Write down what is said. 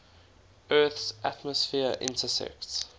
earth's atmosphere intersects